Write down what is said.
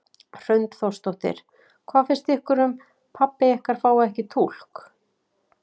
Hrund Þórsdóttir: Hvað finnst ykkur um pabbi ykkar fái ekki túlk?